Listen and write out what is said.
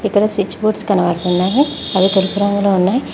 ఇక్కడ switch boards కనబడుతున్నవి అవి తెలుపు రంగులో ఉన్నాయి